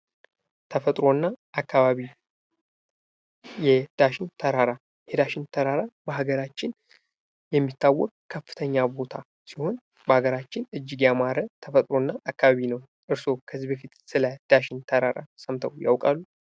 ተፈጥሮና አካባቢ የዳሽን ተራራ የዳሽን ተራራ በሀገራችን የሚታወቅ ከፍተኛ ቦታ ሲሆን በሀገራችን እጅግ የአማራ ተፈጥሮ እና አካባቢ ነው። እርስዎ ከዚህ በፊት ስለ ዳሽን ተራራ ሰምተው ያውቃሉ?